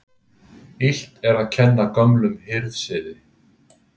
Illt er að kenna gömlum hirðsiði.